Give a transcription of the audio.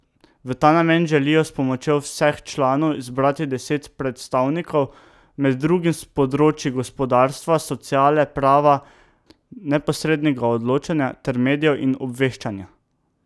V ta namen želijo s pomočjo vseh članov izbrati deset predstavnikov, med drugim s področij gospodarstva, sociale, prava, neposrednega odločanja ter medijev in obveščanja.